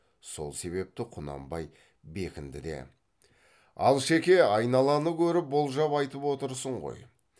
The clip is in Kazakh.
сол себепті құнанбай бекінді де алшеке айналаны көріп болжап айтып отырсын ғой